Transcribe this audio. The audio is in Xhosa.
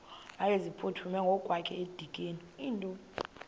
wayeziphuthume ngokwakhe edikeni